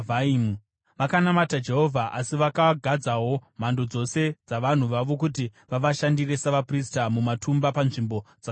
Vakanamata Jehovha, asi vakagadzawo mhando dzose dzavanhu vavo kuti vavashandire savaprista mumatumba panzvimbo dzakakwirira.